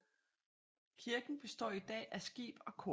Kirken består i dag af skib og kor